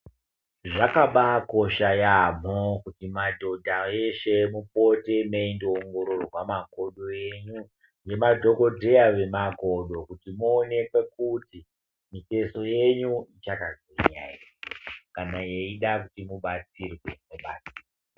Zvakabaakosha yaamho kuti madhodha eshe mupote meindoongororwa makodo enyu nemadhokodheya vemakakodo kuti muonekwe kuti mitezo yenyu yakagwinya ere kana yeida kuti mubatsirwe mobatsirwa.